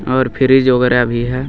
और फ्रिज वगैरा भी है.